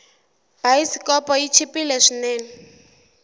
bayisikopo yi chipile swinene